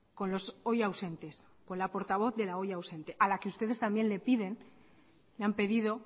con los hoy ausentes con la portavoz de la hoy ausente a la que ustedes también le piden y le han pedido